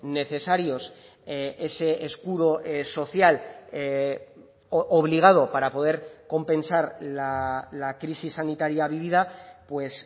necesarios ese escudo social obligado para poder compensar la crisis sanitaria vivida pues